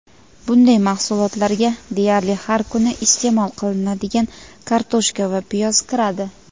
bunday mahsulotlarga deyarli har kuni iste’mol qilinadigan kartoshka va piyoz kiradi.